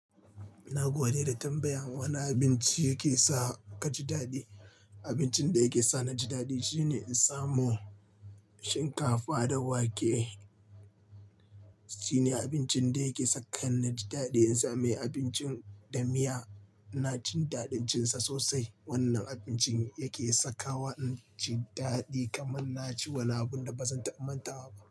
Ina gode da tambayan wane abinci yake sa ka ji daɗi. Abincin da yake sa ni ji daɗi shine in samo shinkafa da wake. Shine abincin da yake saka ni ji daɗi in samu abincin da miya. Na jin daɗin cin sa sosai. Wannan abincin yake saka wa ɗan jin daɗi kamar na ci wani abun da ba zan taba mantawa ba.